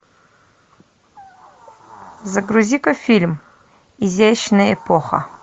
загрузи ка фильм изящная эпоха